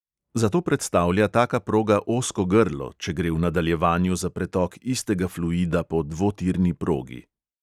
Zato predstavlja taka proga ozko grlo, če gre v nadaljevanju za pretok istega fluida po dvotirni progi.